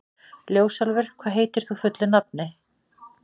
Ljósálfur, hvað heitir þú fullu nafni?